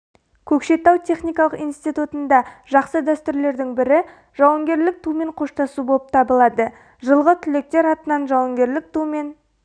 көкшетау техникалық институтында жақсы дәстүрлердің бірі жауынгерлік тумен қоштасу болып табылады жылғы түлектер атынан жауынгерлік тумен